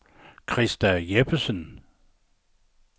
Krista Jeppesen